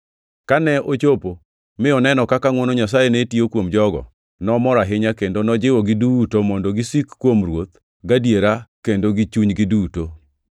Kane ochopo mi oneno kaka ngʼwono Nyasaye ne tiyo kuom jogo, nomor ahinya, kendo nojiwogi duto mondo gisiki kuom Ruoth gadiera kendo gi chunygi duto.